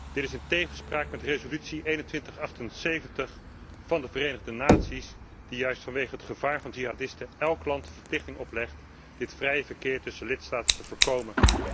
Dit is in tegenspraak met resolutie 2178 van de Verenigde Naties, die juist vanwege het gevaar van jihadisten elk land de verplichting oplegt dit vrij verkeer tussen lidstaten te voorkomen.